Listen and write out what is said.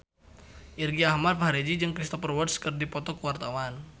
Irgi Ahmad Fahrezi jeung Cristhoper Waltz keur dipoto ku wartawan